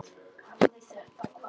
Hafa þetta hvað?